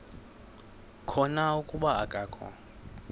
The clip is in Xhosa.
khona kuba akakho